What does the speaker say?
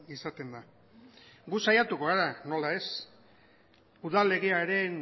izaten da gu saiatuko gara nola ez udal legearen